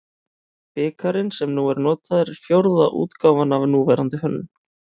Bikarinn sem nú er notaður er fjórða útgáfan af núverandi hönnun.